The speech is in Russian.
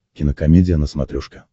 кинокомедия на смотрешке